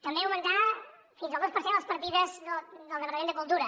també augmentar fins al dos per cent les partides del departament de cultura